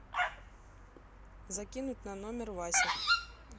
закинуть на номер вася